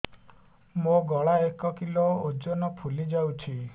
ମୋ ଗଳା ଏକ କିଲୋ ଓଜନ ଫୁଲି ଯାଉଛି